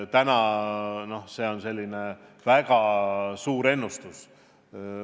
Täna on see väga suur ennustus.